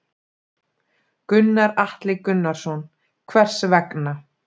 Gunnar Atli Gunnarsson: Hvers vegna?